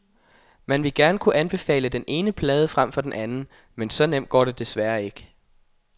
Man ville gerne kunne anbefale den ene plade frem for den anden, men så nemt går det desværre ikke.